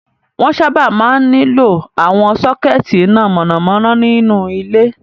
Wọ́n sábà máa ń nílò àwọn sọ́kẹ́tí iná mọ̀nàmọ́ná nínú ilé.